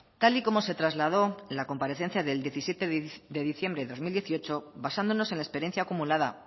tal y como se trasladó en la comparecencia del diecisiete de diciembre de dos mil dieciocho basándonos en la experiencia acumulada